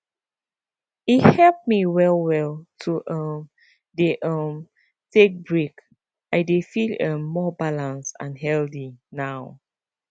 e help me well well to um dey um take break i dey feel um more balanced and healthy now